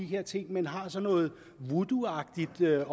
her ting men har sådan noget woodooagtigt med